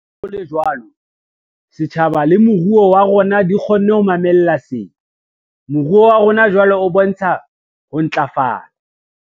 Leha ho le jwalo, setjhaba le moruo wa rona di kgonne ho mamella sena. Moruo wa rona jwale o bontsha ho ntlafala.